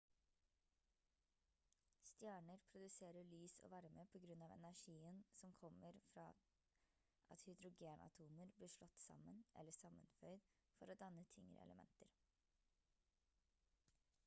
stjerner produserer lys og varme på grunn av energien som kommer fra at hydrogenatomer blir slått sammen eller sammenføyd for å danne tyngre elementer